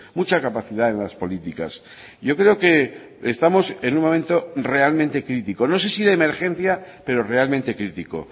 mucha capacidad en las políticas yo creo que estamos en un momento realmente crítico no sé si de emergencia pero realmente crítico